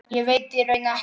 Ég veit í raun ekkert.